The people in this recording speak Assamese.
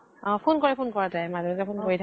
অ phone কৰে phone কৰে তাই । মাজে মাজে phone কৰি